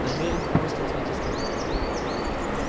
намерен просто ответил старик